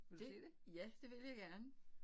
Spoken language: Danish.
Det ja det vil jeg gerne